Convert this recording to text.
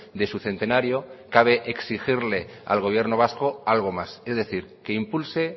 de su centenario cabe exigirle al gobierno vasco algo más es decir que impulse